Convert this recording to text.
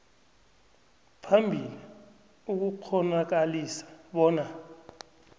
phambili ukukghonakalisa bona